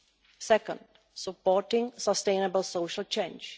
the second, supporting sustainable social change